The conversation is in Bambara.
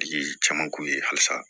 Tigi caman k'u ye halisa